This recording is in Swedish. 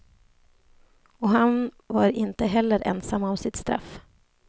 Och han var inte heller ensam om sitt straff.